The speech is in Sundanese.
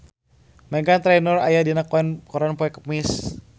Meghan Trainor aya dina koran poe Kemis